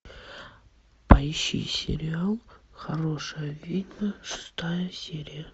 поищи сериал хорошая ведьма шестая серия